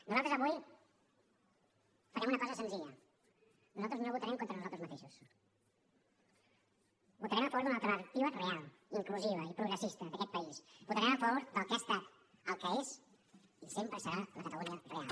nosaltres avui farem una cosa senzilla nosaltres no votarem contra nosaltres mateixos votarem a favor d’una alternativa real inclusiva i progressista d’aquest país votarem a favor del que ha estat el que és i sempre serà la catalunya real